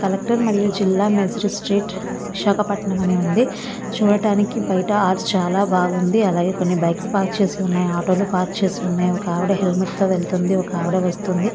Collector మరియు జిల్లా magistrate అని విశాఖపట్టణం అని ఉంది. చూడడానికి బయట ఆర్చ్ చాలా బాగుంది. అలాగే కొన్ని బైక్స్ పార్క్ చేసి ఉన్నాయి. ఆటోలు పార్క్ చేసి ఉన్నాయి. ఒక ఆవిడ హెల్మెట్ తో వెళ్తుంది. ఒక ఆవిడ వస్తుంది.